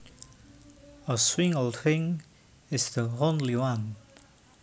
A single thing is the only one